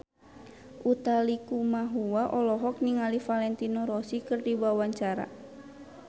Utha Likumahua olohok ningali Valentino Rossi keur diwawancara